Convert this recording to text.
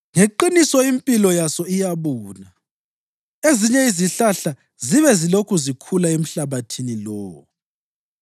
Ngeqiniso impilo yaso iyabuna, ezinye izihlahla zibe zilokhu zikhula emhlabathini lowo.